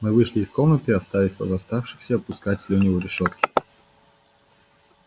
мы вышли из комнаты оставив восставшихся пускать слюни у решётки